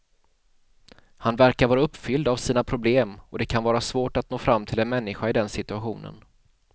Han verkar vara uppfylld av sina problem och det kan vara svårt att nå fram till en människa i den situationen.